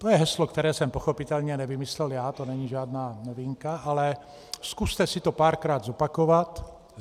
To je heslo, které jsem pochopitelně nevymyslel já, to není žádná novinka, ale zkuste si to párkrát zopakovat.